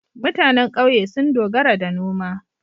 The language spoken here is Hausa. MutAnan ƙauye sun dogara da noma